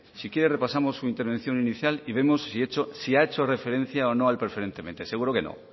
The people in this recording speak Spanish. si quiere repasamos su intervención inicial y vemos si ha hecho referencia o no al preferentemente seguro que